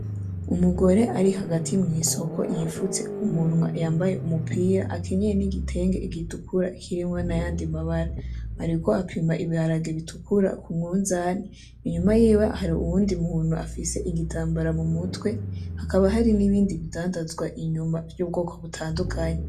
Umugore arihagati mw'isoko yifutse kumunwa yambaye umupira akenyeye n'igitenge gitukura kirimwo n'ayandi mabara ariko apima ibiharage bitukura kumunzani inyuma yiwe hari uwundi muntu afise igitambara m'umutwe hakaba hari nibindi bidandazwa inyuma vy'ubwoko butandukanye.